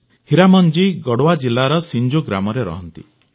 ହୀରାମନ ଜୀ ଗଢ଼ୱା ଜିଲାର ସିଂଜୋ ଗାଁରେ ରହନ୍ତି